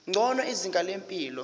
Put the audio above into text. ngcono izinga lempilo